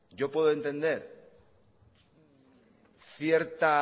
yo puedo entender cierta